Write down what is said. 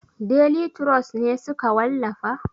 Deli turos ne suka wallafa?